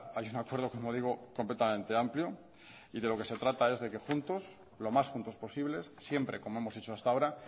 hay un acuerdo como digo completamente amplio y de lo que se trata es de que juntos lo más juntos posibles siempre como hemos hecho hasta ahora